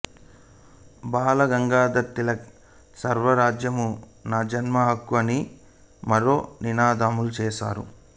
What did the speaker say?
బాలగంగాధర తిలక్ స్వరాజ్యము నా జన్మ హక్కు అని మరో నినాదముచేసెను